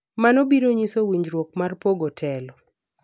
mano biro nyiso winjruok mar pogo telo